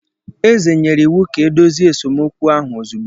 Eze nyere iwu ka e dozie esemokwu ahụ ozugbo